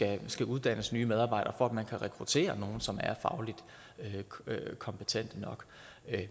hen skal uddannes nye medarbejdere for at man kan rekruttere nogle som er fagligt kompetente nok